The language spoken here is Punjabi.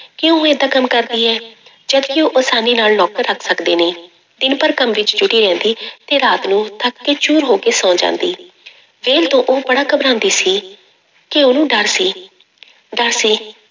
ਕਿ ਉਹ ਏਦਾਂ ਕੰਮ ਕਰਦੀ ਹੈ ਜਦਕਿ ਉਹ ਆਸਾਨੀ ਨਾਲ ਨੌਕਰ ਰੱਖ ਸਕਦੇ ਨੇ, ਦਿਨ ਭਰ ਕੰਮ ਵਿੱਚ ਜੁਟੀ ਰਹਿੰਦੀ ਤੇ ਰਾਤ ਨੂੰ ਥੱਕ ਕੇ ਚੂਰ ਹੋ ਕੇ ਸੌਂ ਜਾਂਦੀ ਵਿਹਲ ਤੋਂ ਉਹ ਬੜਾ ਘਬਰਾਉਂਦੀ ਸੀ, ਕਿ ਉਹਨੂੰ ਡਰ ਸੀ ਡਰ ਸੀ